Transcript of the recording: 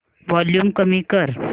volume कमी कर